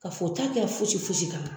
K'a f'o t'a kɛ ka foyisi foyisi k'ala